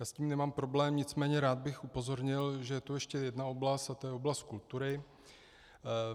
Já s tím nemám problém, nicméně rád bych upozornil, že je tu ještě jedna oblast, a to je oblast kultury.